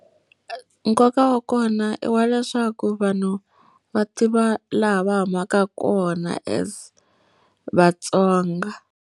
Nkoka wa kona i wa leswaku vanhu va tiva laha va humaka kona as vaTsonga.